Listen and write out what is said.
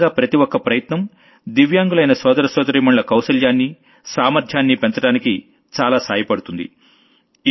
ఈ విధంగా ప్రతి ఒక్క ప్రయత్నం దివ్యాంగులైన సోదరసోదరీమణుల కౌశలాన్ని సామర్ధ్యాన్ని పెంచడానికి చాలా సాయపడుతుంది